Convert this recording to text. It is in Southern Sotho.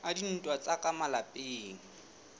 a dintwa tsa ka malapeng